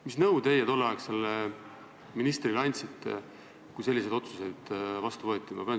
Mis nõu teie tolleaegsele ministrile andsite, kui selliseid otsuseid vastu võeti?